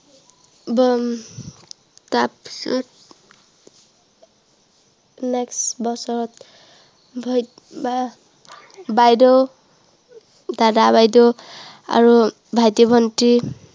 next বছৰত, ভৰিত বা বাইদেউ দাদা বাইদেউ, আৰু ভাইটি ভন্টী